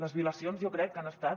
les violacions jo crec que han estat